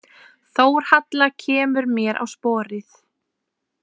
Þórhalla kemur mér á sporið.